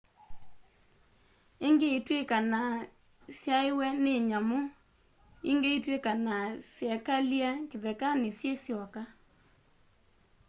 ingĩ itwikanaa syaeiwe nĩ nyamu ingĩ itwikanaa syekalie kĩthekanĩ syĩ syoka